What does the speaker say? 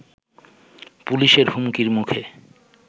পুলিশের হুমকির মুখে